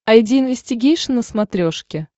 айди инвестигейшн на смотрешке